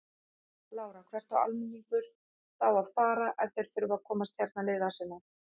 Lára: Hvert á almenningur þá að fara ef þeir þurfa að komast hérna leiðar sinnar?